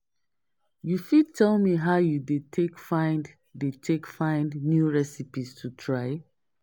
You fit tell me how you dey take find dey take find new recipes to try?